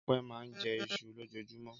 Ọpẹ́ máa ń jẹ iṣu lójoojúmọ́.